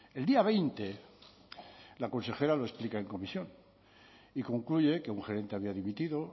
el día veinte la consejera lo explica en comisión y concluye que un gerente había dimitido